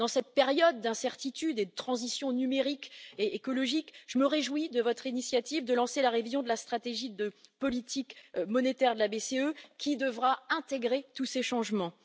Dans cette période d'incertitude et de transition numérique et écologique, je me réjouis de votre initiative de lancer la révision de la stratégie de politique monétaire de la BCE, qui devra intégrer tous ces changements.